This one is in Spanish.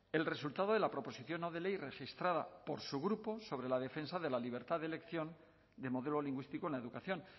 el resultado de la proposición no de ley registrada por su grupo sobre la defensa de la libertad de elección de modelo lingüístico en la educación